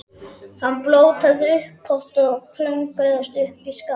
Hann blótaði upphátt og klöngraðist upp í skafl.